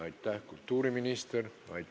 Aitäh, kultuuriminister!